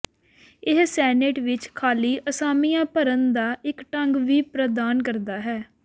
ਇਹ ਸੈਨੇਟ ਵਿੱਚ ਖਾਲੀ ਅਸਾਮੀਆਂ ਭਰਨ ਦਾ ਇੱਕ ਢੰਗ ਵੀ ਪ੍ਰਦਾਨ ਕਰਦਾ ਹੈ